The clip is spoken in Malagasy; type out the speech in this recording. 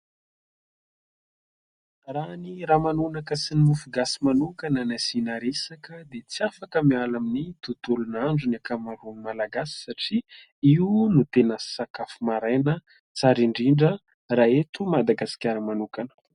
Raha ny ramanonaka sy ny mofo gasy manokana no asiana resaka dia tsy afaka miala amin'ny tontolon'andro ny ankamaroan'ny malagasy satria io no tena sakafo maraina tsara indrindra raha eto Madagasikara manokana.